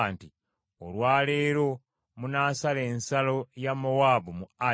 “Olwa leero munaasala ensalo ya Mowaabu mu Ali.